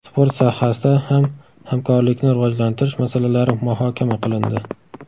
Sport sohasida ham hamkorlikni rivojlantirish masalalari muhokama qilindi.